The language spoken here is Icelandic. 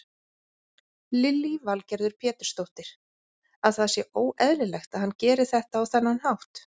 Lillý Valgerður Pétursdóttir: Að það sé óeðlilegt að hann geri þetta á þennan hátt?